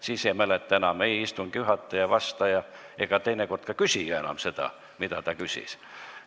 Siis ei mäleta enam ei istungi juhataja, vastaja ega teinekord ka küsija enam seda, mida ta enne küsis.